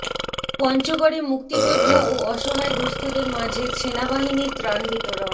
পঞ্চগড়ে মুক্তিযোদ্ধা ও অসহায় দুস্থদের মাঝে সেনাবাহিনীর ত্রাণ বিতরণ